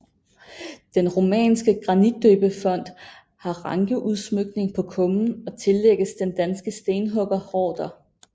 Den romanske granitdøbefont har rankeudsmykning på kummen og tillægges den danske stenhugger Horder